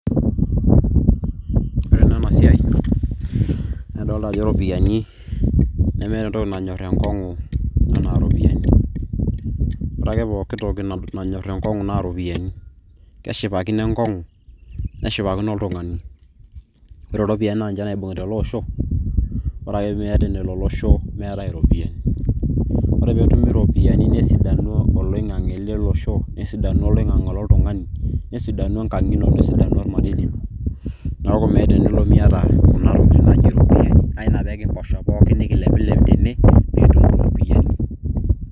ore naa ena siai nadoolita ajo iropiyiani, nemeeta entoki nanyor enkongu naijo iropiyiani, ore aake pooki toki nanyor enkongu naa iropiyiani. keshipakino enkong'u, neshipakino oltungani ore iropiyiani naa ninche naaibung'ita ele osho. ore ake meeta enelo olosho meetae iropiyiani, ore ake pee etumi iroppiyiani nesidanu oloingang'e lolosho. nesidanu oloing'ang'e lotultung'ani, nesidanu enkang ino nesidnu olmarei lino. neeku meeta enilo miata iropiyiani, neeku ina pee kimposh pookin, nikilepilep tene pee kitum iropiyiani.